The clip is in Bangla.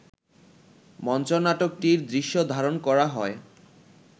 মঞ্চনাটকটির দৃশ্য ধারণ করা হয়